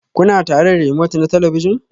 Kuna tare da remote na talabijin?